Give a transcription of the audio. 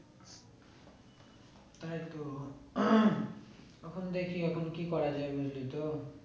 তাই তো তখন দেখি এখন কি করা যায় বুঝলি তো